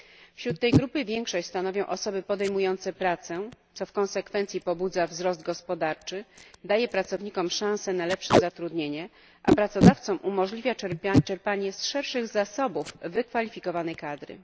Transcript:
Wśród tej grupy większość stanowią osoby podejmujące pracę, co w konsekwencji pobudza wzrost gospodarczy, daje pracownikom szanse na lepsze zatrudnienie, a pracodawcom umożliwia czerpanie z szerszych zasobów wykwalifikowanej kadry.